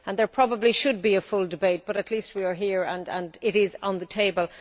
There probably should be a full debate, but at least we are here and it is on the table.